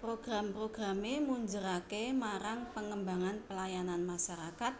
Program programé munjeraké marang pengembangan pelayanan masarakat